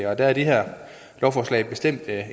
er det her lovforslag bestemt